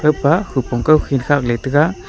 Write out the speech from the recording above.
pa khupong kaukhin khaley taga.